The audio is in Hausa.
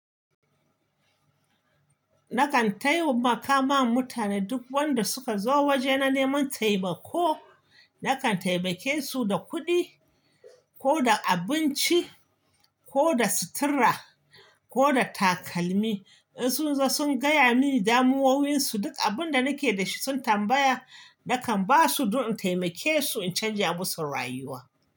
Nakan taiwamaka ma mutane duk wanda suka zo waje na neman taimako. Nakan taimake su da kuɗi ko da abinci ko da sutura ko da takalmi. In sun zo sun gaya mini damuwowinsu, duk abun da nake da shi sun tambaya, nakan ba su don in taimake su in canja musu rayuwa.